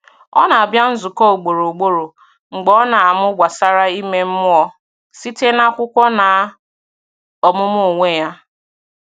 Ọ na-abịa nzukọ ugboro ugboro, mgbe ọ na-amụ gbasàra ime mmụọ site n’akwụkwọ na ọmụmụ onwe ya.